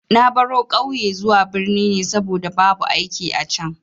Na baro ƙauye zuwa birni ne saboda babu aiki a can.